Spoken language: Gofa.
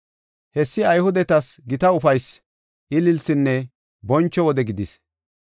Hessi Ayhudetas gita ufaysi, ililsinne boncho wode gidis.